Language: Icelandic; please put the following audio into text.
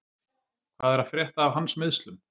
Hvað er að frétta af hans meiðslum?